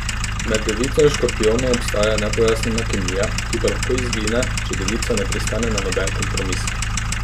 Med devico in škorpijonom obstaja nepojasnjena kemija, ki pa lahko izgine, če devica ne pristane na noben kompromis.